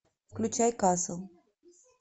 включай касл